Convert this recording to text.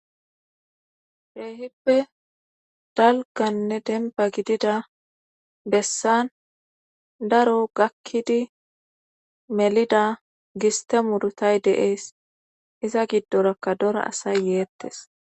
beehippe dalganne demba gidida bessan daro gakkidi melida giste murtay deees iza giddorakka dora asay yeettes